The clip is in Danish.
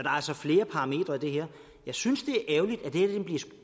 altså flere parametre i det her jeg synes